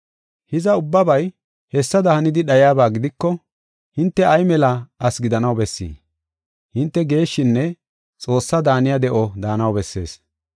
Hiza, ubbabay hessada hanida dhayiyaba gidiko hinte ay mela asi gidanaw bessii? Hinte geeshshinne Xoossaa daaniya de7o daanaw bessees.